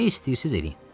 Nə istəyirsiniz, eləyin.